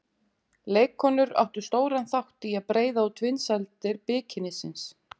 Leikkonur áttu stóran þátt í að breiða út vinsældir bikinísins.